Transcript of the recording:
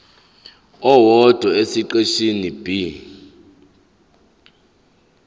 owodwa esiqeshini b